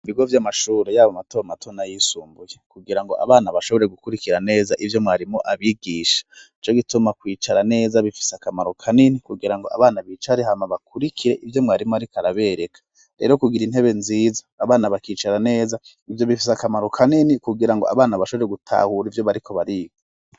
Ibigo vy'amashuro yabo matomato nayisumbuye, kugirango abana bashobore gukurikira neza ivyo mwarimo abigisha ico gituma kwicara neza bifise akamaro ka nini kugira ngo abana bicare hama bakurikire ivyo mwarimo, ariko arabereka rero kugira intebe nziza abana bakicara neza ivyo bifise akamaro ka nini kugira ngo abana bashobore gutahura ivyo bariko bariga.